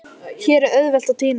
Hér er auðvelt að týnast.